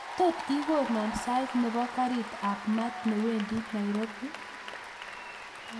Tot ikonon sait nebo garit ab maat newendi nairobi